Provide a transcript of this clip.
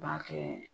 B'a kɛ